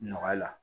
Nɔgɔya la